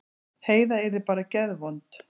Heiða yrði bara geðvond.